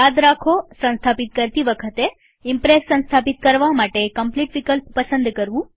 યાદ રાખોસંસ્થાપિત કરતી વખતે ઈમ્પ્રેસ સંસ્થાપિત કરવા માટે કમ્પ્લીટ વિકલ્પ પસંદ કરવું